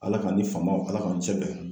Ala k'an ni faamaw Ala k'an n'u cɛ bɛn